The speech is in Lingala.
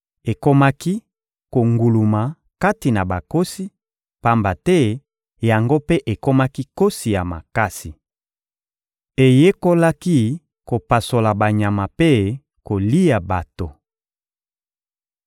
Ekomaki konguluma kati na bankosi, pamba te yango mpe ekomaki nkosi ya makasi. Eyekolaki kopasola banyama mpe kolia bato.